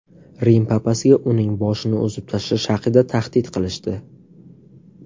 Rim papasiga uning boshini uzib tashlash haqida tahdid qilishdi.